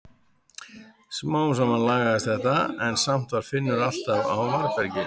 Smám saman lagaðist þetta en samt var Finnur alltaf á varðbergi.